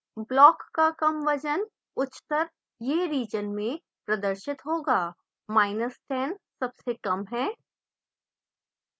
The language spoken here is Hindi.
block का कम वजन उच्चतर यह रिजन में प्रदर्शित होगा10 सबसे कम है